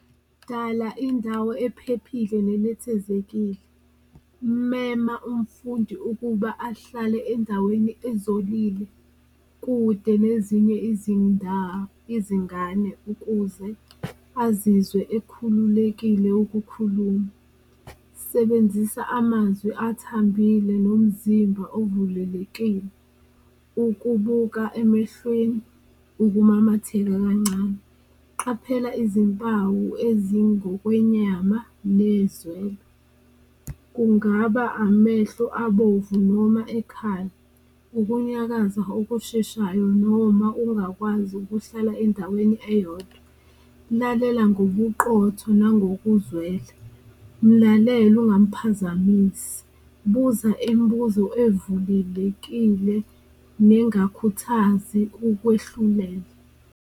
Dala indawo ephephile nenethezekile, mema umfundi ukuba ahlale endaweni ezolile kude nezinye izingane ukuze azizwe ekhululekile ukukhuluma, sebenzisa amazwi athambile nomzimba ovulelekile, ukubuka emehlweni, ukumamatheka kancane. Qaphela izimpawu ezingokwenyama , kungaba amehlo abovu noma ekhala, ukunyakaza okusheshayo noma ungakwazi ukuhlala endaweni eyodwa. Lalena ngobuqotho nangokuzwela, mlalele ungamphazamisi, buza imbuzo evulelekile nengakhuthazi ukwehluleka.